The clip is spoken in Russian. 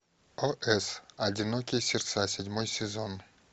о с одинокие сердца седьмой сезон